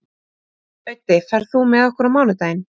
Auddi, ferð þú með okkur á mánudaginn?